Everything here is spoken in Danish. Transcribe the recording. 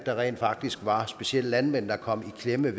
der rent faktisk var specielt landmænd der kom i klemme